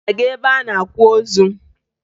Ị na-aga ebe a na-akwa ozu?